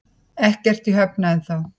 Ekkert í höfn ennþá